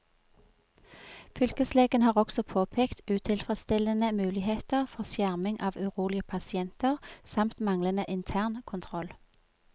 Fylkeslegen har også påpekt utilfredsstillende muligheter for skjerming av urolige pasienter, samt manglende internkontroll.